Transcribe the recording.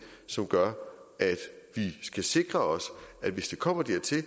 som gør at vi skal sikre os at hvis det kommer dertil